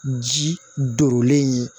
Ji durulen ye